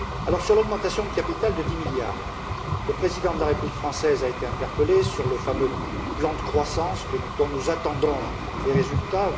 Concernant l'augmentation de capital de 10 milliards, le président de la République française a été interpellé sur le fameux plan de croissance, dont nous attendons des résultats.